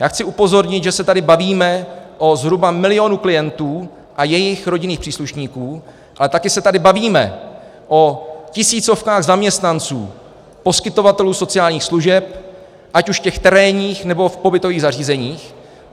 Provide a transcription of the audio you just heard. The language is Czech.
Já chci upozornit, že se tady bavíme o zhruba milionu klientů a jejich rodinných příslušníků, ale také se tady bavíme o tisícovkách zaměstnanců poskytovatelů sociálních služeb, ať už těch terénních, nebo v pobytových zařízeních.